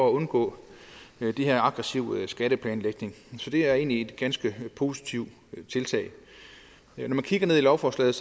at undgå den her aggressive skatteplanlægning så det er egentlig et ganske positivt tiltag når man kigger ned i lovforslaget